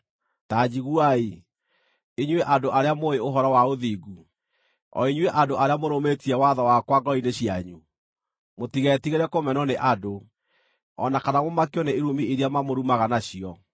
“Ta njiguai, inyuĩ andũ arĩa mũũĩ ũhoro wa ũthingu, o inyuĩ andũ arĩa mũrũmĩtie watho wakwa ngoro-inĩ cianyu: Mũtigetigĩre kũmenwo nĩ andũ, o na kana mũmakio nĩ irumi iria mamũrumaga nacio.